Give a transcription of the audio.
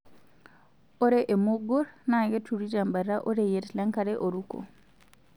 Ore emugur naa keturi tembata oreyiet lenkare oruko.